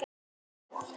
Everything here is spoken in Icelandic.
Svo dundu ósköpin yfir.